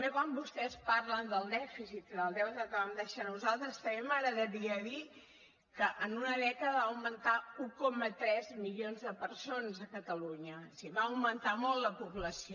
quan vostès parlen del dèficit i del deute que vam deixar nosaltres també m’agradaria dir que en una dècada va augmentar un coma tres milions de persones a catalunya o sigui va augmentar molt la població